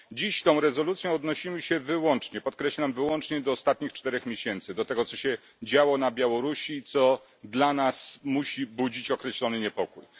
Dziś tą rezolucją odnosimy się wyłącznie podkreślam wyłącznie do ostatnich czterech miesięcy, do tego, co się działo na Białorusi, co dla nas musi budzić określony niepokój.